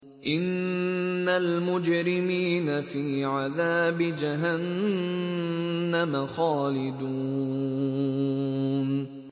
إِنَّ الْمُجْرِمِينَ فِي عَذَابِ جَهَنَّمَ خَالِدُونَ